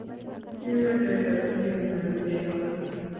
kiribe teta si kenyoru chego